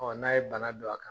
n'a ye bana don a kan